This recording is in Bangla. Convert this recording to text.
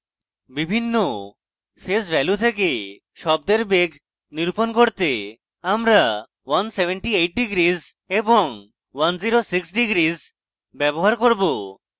বিভিন্ন phase ভ্যালু থেকে শব্দের deg নিরূপণ করতে আমরা 178deg এবং 106deg ব্যবহার করব